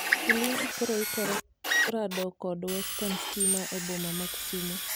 Ulinzi koro ikore rado kod Western Stima e boma ma kisumu